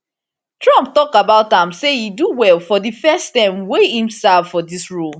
trump tok about am say e do well for di first term wey im serve for dis role